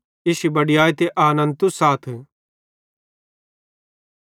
इश्शी बड़याई ते आनन्द तुस आथ